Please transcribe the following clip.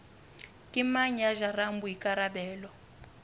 ke mang ya jarang boikarabelo